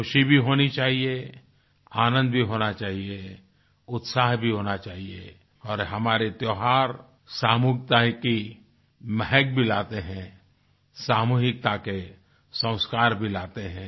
ख़ुशी भी होनी चाहिए आनंद भी होना चाहिए उत्साह भी होना चाहिए और हमारे त्योहार सामूहिकता की महक भी लाते हैं सामूहिकता के संस्कार भी लाते हैं